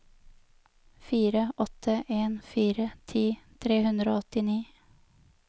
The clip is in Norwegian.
fire åtte en fire ti tre hundre og åttini